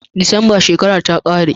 December shekara ta kare